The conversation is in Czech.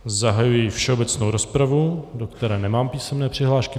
Zahajuji všeobecnou rozpravu, do které nemám písemné přihlášky.